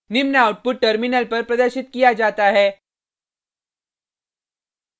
निम्न output terminal पर प्रदर्शित किया जाता है